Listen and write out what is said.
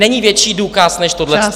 Není větší důkaz než tohle!